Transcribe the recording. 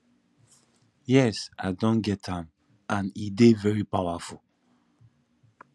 yes i don get am and e dey very powerful